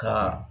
Ka